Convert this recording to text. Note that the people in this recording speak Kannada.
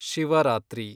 ಶಿವರಾತ್ರಿ